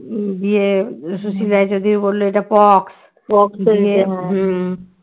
দিয়ে সুশীল রায় চৌধুরী বললো এটা পক্স পক্স তো দিয়ে